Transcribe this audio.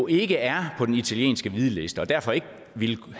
ikke er på den italienske hvidliste og derfor ikke vil